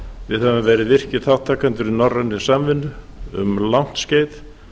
við höfum verið virkir þátttakendur í norrænni samvinnu um langt skeið